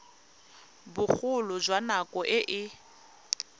bogolo jwa nako e e